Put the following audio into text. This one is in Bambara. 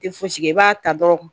Tɛ fosi kɛ i b'a ta dɔrɔn